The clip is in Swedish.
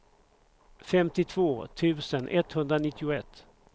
femtiotvå tusen etthundranittioett